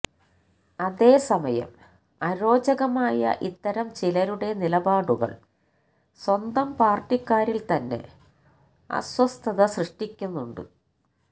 അതേസമയം അരോചകമായ ഇത്തരം ചിലരുടെ നിലപാടുകൾ സ്വന്തം പാർട്ടിക്കാരിൽ തന്നെ അസ്വസ്ഥത സൃഷ്ടിക്കുന്നുണ്ട്